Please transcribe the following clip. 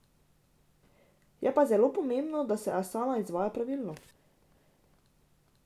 Je pa zelo pomembno, da se asane izvaja pravilno.